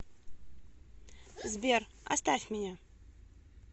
сбер оставь меня